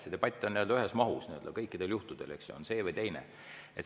See debatt on nii-öelda ühes mahus kõikidel juhtudel, eks ju, on siis see või teine.